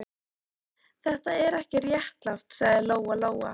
Þetta er ekki réttlátt, sagði Lóa-Lóa.